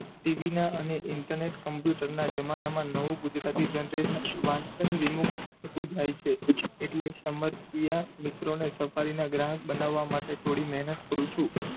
TV ના અને internet computer ના જમાનામાં નવું ગુજરાતી generation વાંચન વિમુક્ત થાય છે એટલે સમસ્યા મિત્રોને safari ના ગ્રાહક બનાવવા માટે થોડી મહેનત કરું છું.